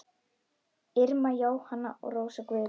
Irma Jóhanna og Rósa Guðrún.